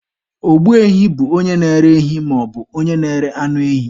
Ogbu ehi bụ onye na-ere ehi maọbụ onye na-ere anụ ehi.